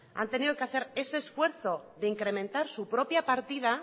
han tenido que hacer ese esfuerzo de incrementar su propia partida